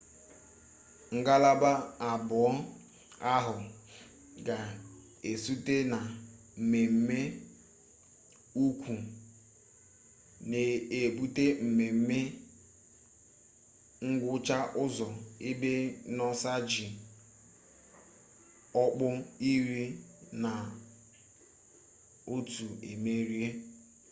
ngalaba abụọ ahụ ga-ezute na mmeme ukwu n'ebute mmeme ngwụcha ụzọ ebe noosa ji ọkpụ iri na otu emerie